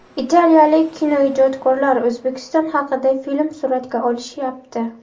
Italiyalik kinoijodkorlar O‘zbekiston haqida film suratga olishyapti.